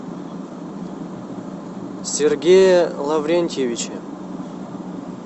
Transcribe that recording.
сергее лаврентьевиче